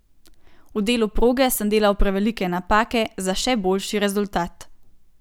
V delu proge sem delal prevelike napake za še boljši rezultat.